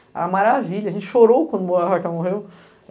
Era maravilha, a gente chorou quando ela morreu.